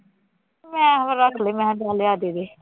ਮੈਂ ਹੁਣ ਰੱਖ ਲਏ ਮੈਂ ਕਿਹਾ ਚੱਲ ਦੇ ਦੇ